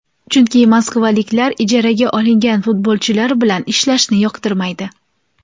Chunki moskvaliklar ijaraga olingan futbolchilar bilan ishlashni yoqtirmaydi.